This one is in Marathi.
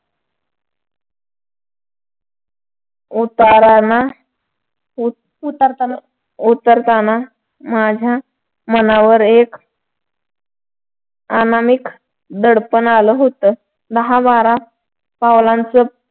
उतारा ना उतरताना माझ्या मनावर एक अनामिक दडपण आलं होत. दहा बारा पावलांच